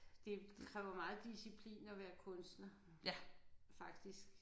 Det kræver meget disciplin at være kunstner faktisk